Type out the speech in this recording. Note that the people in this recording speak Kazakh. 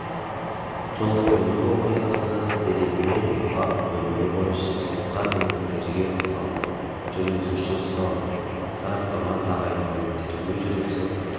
жол-көлік оқиғасы дерегімен бап бөлімі бойынша сотқа дейінгі тергеу басталды жүргізушісі ұсталды сараптама тағайындалып тергеу жүріп